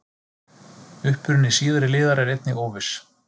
Uppruni síðari liðar er einnig óviss.